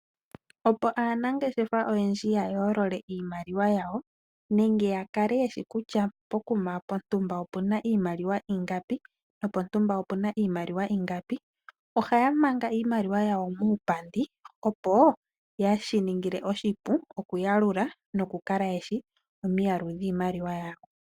Opo aanangeshefa oyendji ya yoololole iimaliwa yawo nenge yakale yeshi kutya pokuma pontumba opena ingapi, nopontumba opena iimaliwa ingapi, ohaya manga iimaliwa yawo muupandi, opo shi yaningila oshipu okuyalula nokukala yeshi omiyalu dhiimaliwa yawo.